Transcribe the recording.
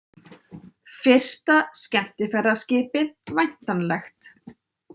Fyrsta skemmtiferðaskipið væntanlegt